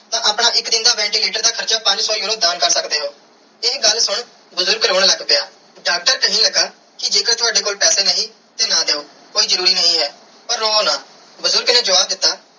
ਤੇਤੇ ਆਪਣਾ ਇਕ ਦਿਨ ਦਾ ventilator ਦਾ ਹਾਰਚਾ ਪੰਜ ਸੋ euro ਦਾਨ ਕਰ ਸਕਦੇ ਓ ਇਹ ਗੱਲ ਸੁਨ ਬੁਜ਼ਰਗ ਰੋਂ ਲੱਗ ਪਿਆ ਡਾਕਟਰ ਕੇਹਨ ਲਗਾ ਕੇ ਜੇ ਕਰ ਤਾਵਦੇ ਕੋਲ ਪੈਸੇ ਨਹੀਂ ਤੇ ਨਾ ਦਿਯੋ ਕੋਈ ਜਰੂਰੀ ਨਾਈ ਹੈ ਪਾਰ ਰੋਵੋ ਨਾ ਬੁਜ਼ਰਗ ਨੇ ਜਵਾਬ ਦਿੱਤਾ.